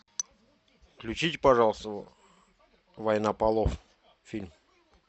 включите пожалуйста война полов фильм